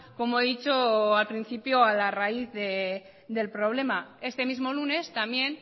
como he dicho al principio a la raíz del problema este mismo lunes también